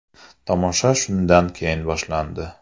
Tomosha shundan keyin boshlandi.